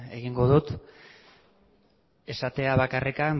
egingo dut esatea bakarrik